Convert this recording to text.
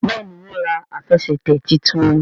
Béèni wón rà Àfẹsẹ̀tẹ̀ títún.